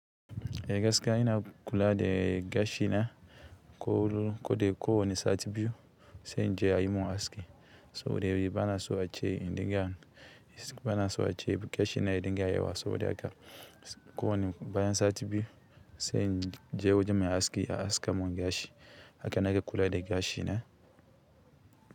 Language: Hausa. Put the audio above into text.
Eh gaskiya ina kula da gashi na ko ko da ko wani sati biyu sai je a yi mun haski saboda bana so a ce in da gashi na ya dinga yawa saboda haka ko bayan sati biyu sai in je wajen mai haski a aska mun gashi haka nake kula da gashi na.